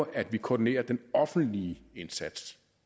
at vi koordinerer den offentlige indsats